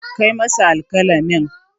Kai masa alƙalamin.